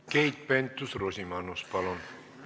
Keit Pentus-Rosimannus, palun!